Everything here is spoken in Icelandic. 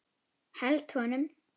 Held honum.